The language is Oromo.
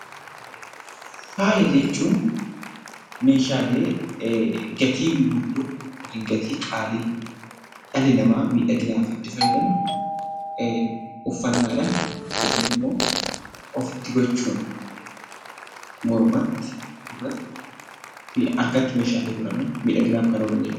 Faaya jechuun meeshaalee gatii guddoo yokin gatii qaalii dhalli namaa miidhaginaaf itti fayyadamu uffannaadhan yookin immoo ofitti gochuun mormatti, gurratti fi harkatti meeshaaleen godhaman miidhaginaaf kan oolan jechuudha.